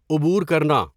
عبور کرنا